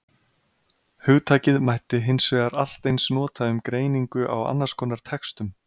Hugtakið mætti hins vegar allt eins nota um greiningu á annars konar textum.